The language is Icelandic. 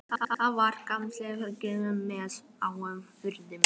Það var gamalt trérúm með háum göflum.